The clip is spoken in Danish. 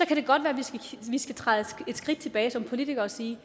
kan det godt være vi skal træde et skridt tilbage som politikere og sige